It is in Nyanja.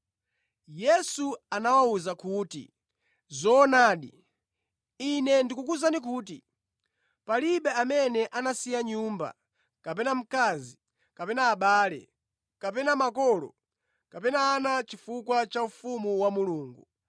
Yesu anawawuza kuti, “Zoonadi, Ine ndikukuwuzani kuti palibe amene anasiya nyumba kapena mkazi kapena abale kapena makolo kapena ana chifukwa cha ufumu wa Mulungu